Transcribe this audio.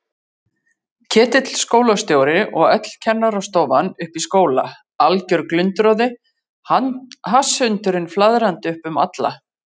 Ketill skólastjóri og öll kennarastofan uppi í skóla, alger glundroði, hasshundurinn flaðrandi upp um alla.